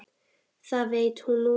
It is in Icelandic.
Það veit hún núna.